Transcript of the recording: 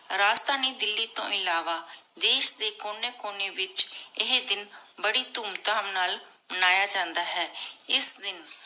ਰਾਜਧਾਨੀ ਦਿੱਲੀ ਤੋ ਇਲਾਵਾ ਦੇਸ਼ ਦੇ ਕੋਨੀ ਕੋਨੀ ਵਿਚ ਏਹੀ ਦਿਨ ਬਾਰੀ ਧੂਮ ਧਾਮ ਨਾਲ ਮਾਨ੍ਯ ਜਾਂਦਾ ਹੈ ਇਸ ਦਿਨ